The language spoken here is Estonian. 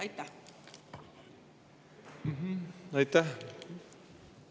Aitäh!